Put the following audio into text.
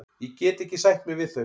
Ég get ekki sætt mig við þau.